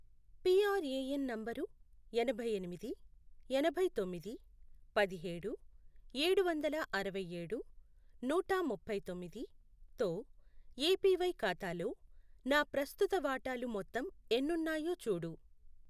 PRAN నంబరు యాభైఎనిమిది. ఎనభైతొమ్మిది, పదిహేడు, ఏడు వందల అరవైఏడు, నూట ముప్పై తొమ్మిది, తో ఏపివై ఖాతాలో నా ప్రస్తుత వాటాలు మొత్తం ఎన్నున్నాయో చూడు.